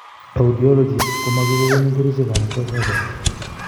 Audiologist koo magoi kogonin kerichek ana kwai surgery